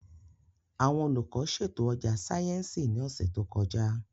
Àwọn olùkọ́ ṣètò ọjà sáyẹ́ǹsì ní ọ̀sẹ̀ tó kọjá